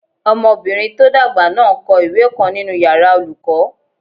Ọmọbìnrin tó dàgbà náà n kọ ìwé kan nínu yàrá olùkọ́